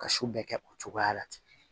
Ka su bɛɛ kɛ o cogoya la ten